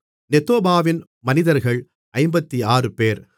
நெத்தோபாவின் மனிதர்கள் 56 பேர்